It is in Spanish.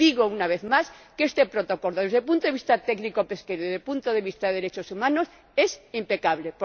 Y digo, una vez más, que este Protocolo, desde el punto de vista técnico pesquero y desde el punto de vista de los derechos humanos, es impecable.